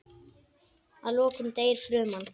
Að lokum deyr fruman.